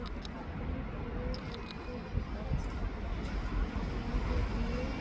এখানে একটি বিয়ের মণ্ডপ আছে মণ্ডপে বিয়ে --